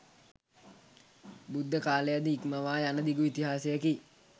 බුද්ධකාලය ද ඉක්මවා යන දිගු ඉතිහාසයකි.